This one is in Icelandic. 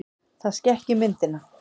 Það skekki myndina.